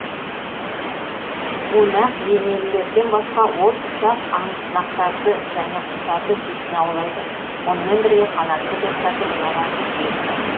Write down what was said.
бунақденелілерден басқа ол ұсақ аңсымақтарды және құстарды сүйсіне аулайды мұнымен бірге қанатты достардың ұяларын жиі бұзады